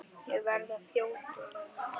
Ég verð að þjóta núna.